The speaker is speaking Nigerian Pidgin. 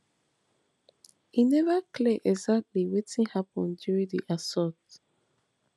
e neva clear exactly wetin happun during di assault